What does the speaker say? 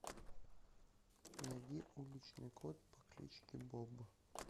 найди уличный кот по кличке боб